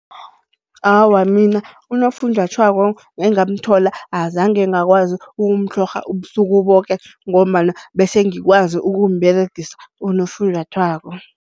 Awa mina unofunjathwako engamthola azange ngakwazi ukumtlhorha ubusuku boke ngombana bese ngikwazi ukumberegisa unofunjathwako.